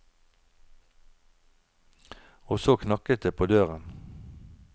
Og så knakket det på døren.